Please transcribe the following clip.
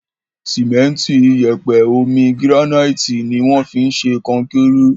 Sìmẹ́ntì, iyẹ̀pẹ̀, omi, gíránáìtì ni wọ́n fi ń ṣe kọnkéré.